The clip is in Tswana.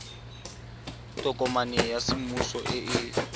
tokomane ya semmuso e e